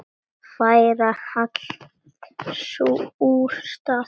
Færa allt úr stað.